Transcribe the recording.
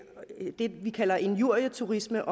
vi kalder injurieturisme